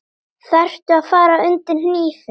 Þarftu að fara undir hnífinn?